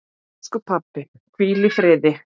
Elsku pabbi, hvíl í friði.